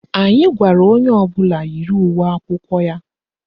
Anyị gwara onye ọbụla yiri uwe akwụkwọ ya.